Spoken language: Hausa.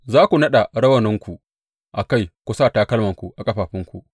Za ku naɗa rawunanku a kai ku sa takalmanku a ƙafafunku.